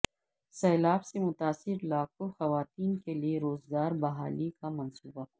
سیلاب سے متاثرہ لاکھوں خواتین کے لیے روزگار بحالی کا منصوبہ